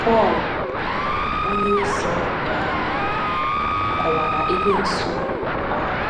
Pọl onyeozi um kọwara Ekwensu um